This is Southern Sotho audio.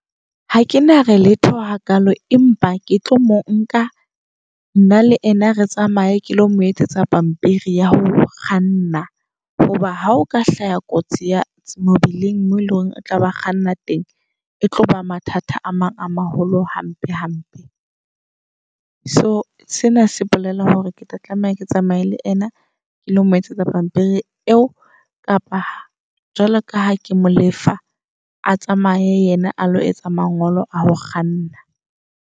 Ha ke na re letho hakalo empa ke tlo monka nna le yena re tsamaye ke lo mo etsetsa pampiri ya ho kganna. Hoba ha o ka hlaya kotsi ya mobileng moo eleng hore o tlaba kganna teng. E tloba mathata a mang a maholo hampe hampe. So sena se bolela hore ketla tlameha ke tsamaye le yena ke lo moetsetsa pampiri eo. Kapa jwalo ka ha ke mo lefa, a tsamaye yena a lo etsa mangolo a ho kganna.